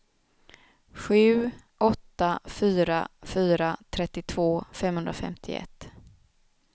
sju åtta fyra fyra trettiotvå femhundrafemtioett